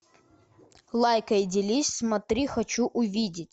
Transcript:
лайкай делись смотри хочу увидеть